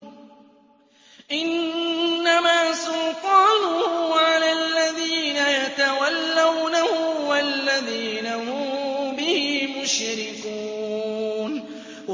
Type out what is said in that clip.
إِنَّمَا سُلْطَانُهُ عَلَى الَّذِينَ يَتَوَلَّوْنَهُ وَالَّذِينَ هُم بِهِ مُشْرِكُونَ